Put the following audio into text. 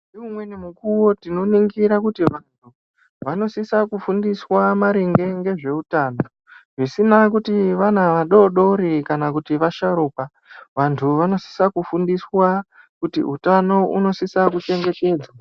Umweni mukuo tinoringira kuti vanthu vanosisa kufundiswa maringe ngezveutano zvisina kuti vana vadodori kana kuti vasharukwa vanthu vanosisa kufundiswa kuti utano unosisa kuchengetedwza.